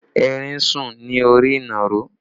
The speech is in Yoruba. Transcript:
Erin ń sùn ní orí ìnàró